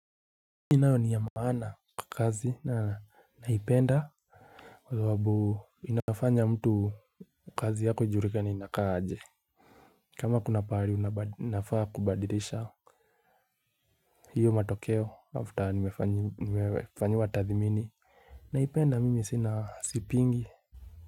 Hii nayo ni ya maana kwa kazi na naipenda kwa sababu inafanya mtu kazi yako ijulikane inakaa aje. Kama kuna pahali ninafaa kubadilisha hiyo matokeo after nimefanyiwa tathimini. Naipenda mimi sina sipingi.